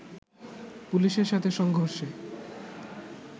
পুলিশের সাথে সংঘর্ষে